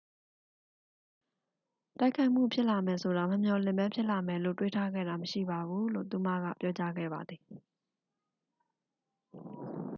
"""တိုက်ခိုက်မှုဖြစ်လာမယ်ဆိုတာ မမျှော်လင့်ဘဲ ဖြစ်လာမယ်လို့ တွေးထားခဲ့တာမရှိပါဘူး၊" လို့ သူမက ပြောကြားခဲ့ပါသည်။